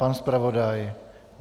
Pan zpravodaj?